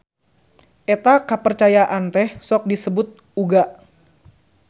Eta kapercayaan teh sok disebut uga.